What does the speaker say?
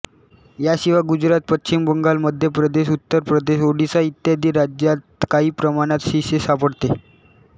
याशिवाय गुजरात पश्चिम बंगाल मध्य प्रदेश उत्तर प्रदेश ओडिशा इत्यादी राज्यांत काही प्रमाणात शिसे सापडते